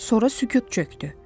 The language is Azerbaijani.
Sonra sükut çökdü.